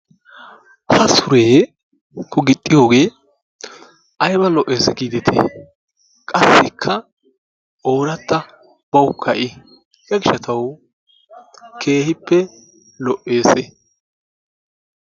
Ha suree nu gixxiyogee ayba lo'ees giidetii! Qassikka ooratta bawukka I. Hegaa gishshatawu keehippe lo'eesi.